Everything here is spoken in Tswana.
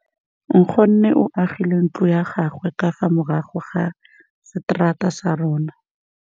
Nkgonne o agile ntlo ya gagwe ka fa morago ga seterata sa rona.